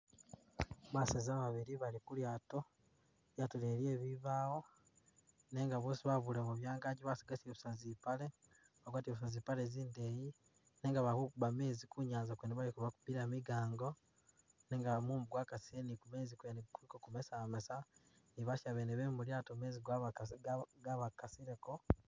Baseza babili bali ku lyaato. Lyaato mwene lye bibaawo nenga boosi babulemu byangaji basigazile busa zipale, bagwatile busa zipale zindeyi nenga bakukuba meezi ku nyaanza kwene baliko bakubila migango nenga mumu gwakasile ni kumeezi kuliko ku kumasamasa basiya mwene be mu lyaato mumu gwabya gwabakasiliko.